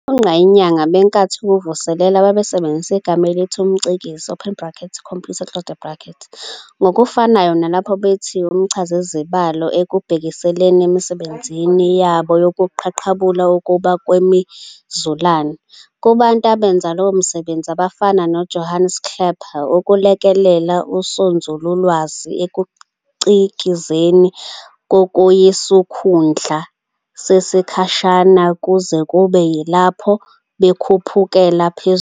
Ogqayinyanga benkathi yokuVuselelwa babesebenzisa igama elithi umcikizi "computer" ngokufanayo nalapho bethi umchazizibalo, ekubhekiseleni emisebenzini yao yokuqaqulula ukuma kwemizulane. Kubantu abenza lowo msebenzi, abafana noJohannes Kepler, ukulekelela usonzululwazi ekucikizeni kwakuyisikhundla sesikhashana kuze kube yilapho bekhuphukela phezulu.